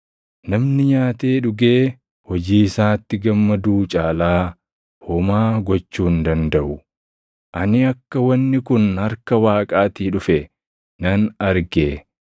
Namni nyaatee dhugee hojii isaatti gammaduu caalaa homaa gochuu hin dandaʼu. Ani akka wanni kun harka Waaqaatii dhufe nan arge;